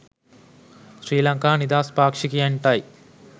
ශ්‍රී ලංකා නිදහස් පාක්ෂිකයන්ටයි